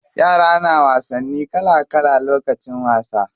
Yara na wasanni kala kala lokacin wasa.